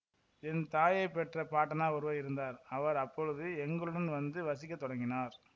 என் தாயைப் பெற்ற பாட்டனார் ஒருவர் இருந்தார் அவர் அப்போது எங்களுடன் வந்து வசிக்கத் தொடங்கினார்